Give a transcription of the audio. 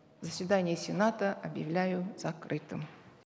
заседание сената объявляю закрытым